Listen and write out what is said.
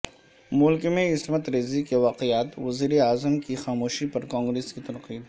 ملک میں عصمت ریزی کے واقعات وزیراعظم کی خاموشی پر کانگریس کی تنقید